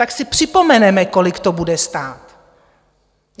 Tak si připomeneme, kolik to bude stát.